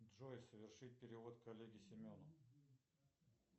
джой совершить перевод коллеге семену